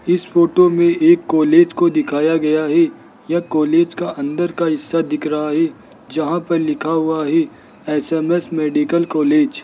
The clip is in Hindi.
इस फोटो में एक कॉलेज को दिखाया गया है यह कॉलेज का अंदर का हिस्सा दिख रहा है जहाँ पर लिखा हुआ है एस_एम_एस मेडिकल कॉलेज ।